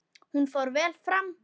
Hún fór vel fram.